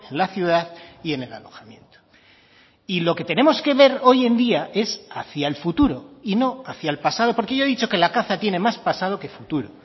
la ciudad y en el alojamiento y lo que tenemos que ver hoy en día es hacía el futuro y no hacia el pasado porque yo he dicho que la caza tiene más pasado que futuro